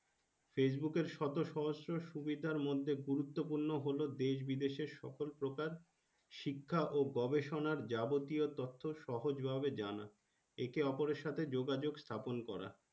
Facebook এর সাথে শতসহস্র সুবিধার মধ্যে গুরুত্ব পূর্ণ হল দেশ বিদেশের এর সকল প্রকার শিক্ষক ও গবেষণের যাবতীয় তত্ত্ব সহজ ভাবে জানা একে ওপরের সাথে যোগাযোগ স্থাপন করা।